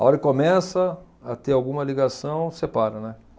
A hora que começa a ter alguma ligação, separa, né?